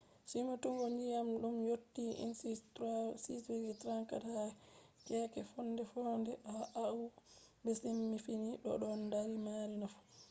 simtugo ndiyam ɗum yotti ínci 6.34 ha keeke fonde-fonde ha oahu be siifini do ɗon mari nafu